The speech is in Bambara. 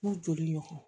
N'u joli ɲɔgɔ